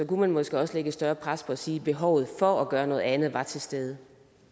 kunne man måske også lægge et større pres og sige at behovet for at gøre noget andet er til stede